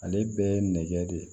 Ale bɛɛ ye nɛgɛ de ye